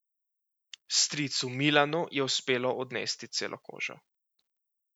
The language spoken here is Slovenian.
Stricu Milanu je uspelo odnesti celo kožo.